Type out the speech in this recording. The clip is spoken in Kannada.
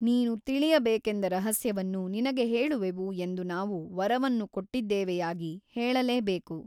ನೀನು ತಿಳಿಯಬೇಕೆಂದ ರಹಸ್ಯವನ್ನು ನಿನಗೆ ಹೇಳುವೆವು ಎಂದು ನಾವು ವರವನ್ನು ಕೊಟ್ಟಿದ್ದೇವೆಯಾಗಿ ಹೇಳಲೇಬೇಕು.